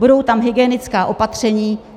Budou tam hygienická opatření.